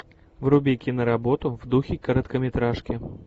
вруби киноработу в духе короткометражки